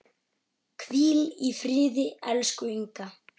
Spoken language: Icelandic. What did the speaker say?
Hvíl í friði, elsku Inga.